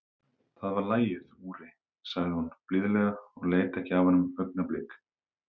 Það var lagið, Úri, sagði hún blíðlega og leit ekki af honum augnablik.